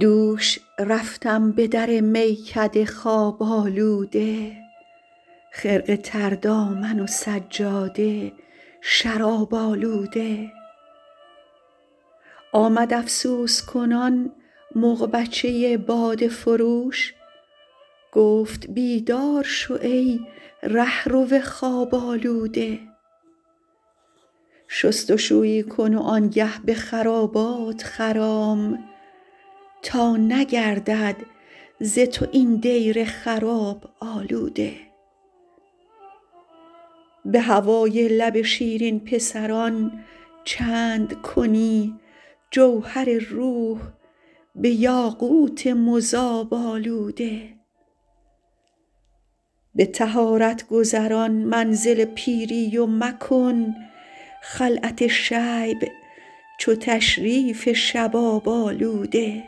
دوش رفتم به در میکده خواب آلوده خرقه تر دامن و سجاده شراب آلوده آمد افسوس کنان مغبچه باده فروش گفت بیدار شو ای رهرو خواب آلوده شست و شویی کن و آن گه به خرابات خرام تا نگردد ز تو این دیر خراب آلوده به هوای لب شیرین پسران چند کنی جوهر روح به یاقوت مذاب آلوده به طهارت گذران منزل پیری و مکن خلعت شیب چو تشریف شباب آلوده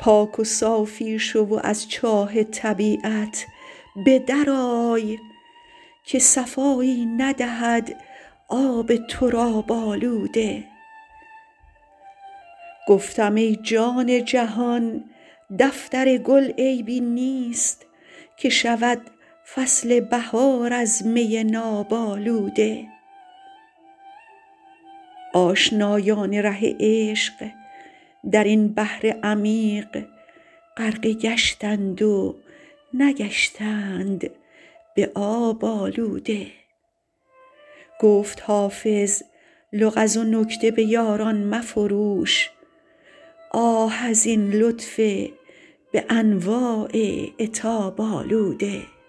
پاک و صافی شو و از چاه طبیعت به در آی که صفایی ندهد آب تراب آلوده گفتم ای جان جهان دفتر گل عیبی نیست که شود فصل بهار از می ناب آلوده آشنایان ره عشق در این بحر عمیق غرقه گشتند و نگشتند به آب آلوده گفت حافظ لغز و نکته به یاران مفروش آه از این لطف به انواع عتاب آلوده